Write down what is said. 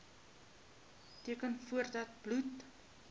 teken voordat bloed